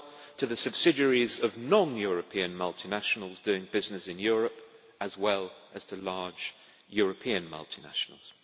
to the subsidiaries of non European multinationals doing business in Europe, as well as to large European multinationals.